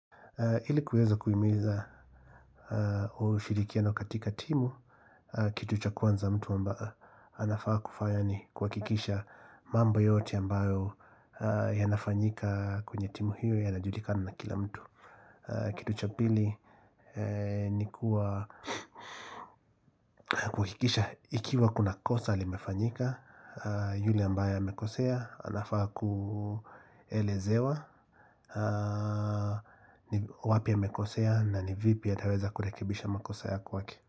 Ili kuweza kuhimiza ushirikiano katika timu, kitu cha kwanza mtu amba anafaa kufanya ni kuhakikisha mambo yote ambayo yanafanyika kwenye timu hiyo yanajulikana na kila mtu Kitu cha pili ni kuwa na kuhakikisha ikiwa kuna kosa limefanyika yule ambaye amekosea, anafaa kuelezewa wapi amekosea na ni vipi ataweza kurekebisha makosa ya kwake.